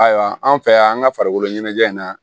Ayiwa an fɛ yan an ka farikolo ɲɛnajɛ in na